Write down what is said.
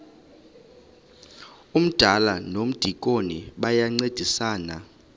umdala nomdikoni bayancedisana